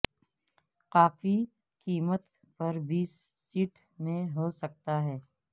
کافی قیمت پر بیس سیٹ میں ہو سکتا ہے